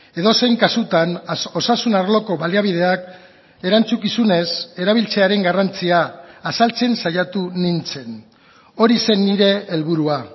edozein kasutan osasun arloko baliabideak erantzukizunez erabiltzearen garrantzia azaltzen saiatu nintzen hori zen nire helburua